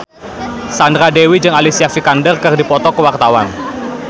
Sandra Dewi jeung Alicia Vikander keur dipoto ku wartawan